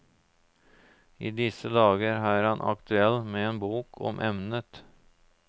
I disse dager er han aktuell med bok om emnet.